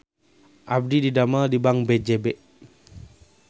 Abdi didamel di Bank BJB